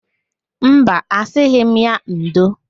Mba, asịghị m ya ndo.